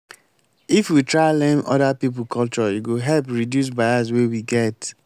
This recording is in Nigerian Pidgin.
if we try learn oda pipo culture e go help reduce bias wey we get.